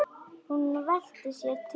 Hún velti sér til þeirra.